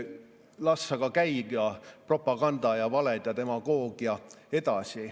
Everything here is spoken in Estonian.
Las aga käivad propaganda ja valed ja demagoogia edasi.